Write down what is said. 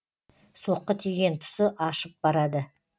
соққы тиген тұсы ашып барады